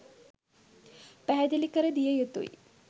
පැහැදිලි කර දිය යුතුයි